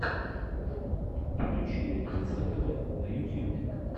включи ленивца тэвэ на ютюбе